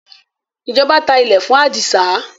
ìjọba tá ilé fún adisa